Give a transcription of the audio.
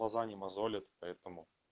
глаза не мозолит поэтому